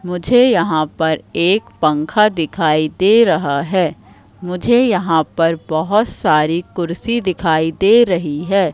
मुझे यहाँ पर एक पंखा दिखाई दे रहा हैं मुझे यहाँ पर बहोत सारी कुर्सी दिखाई दे रहीं हैं।